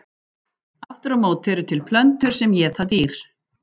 Aftur á móti eru til plöntur sem éta dýr.